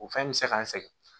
O fɛn bɛ se ka n sɛgɛn